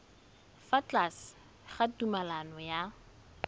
fa tlase ga tumalano ya